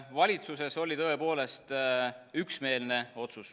Valitsuses oli tõepoolest üksmeelne otsus.